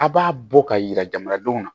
A b'a bɔ ka yira jamanadenw na